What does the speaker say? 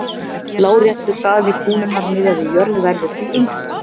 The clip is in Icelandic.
Láréttur hraði kúlunnar miðað við jörð verður því enginn.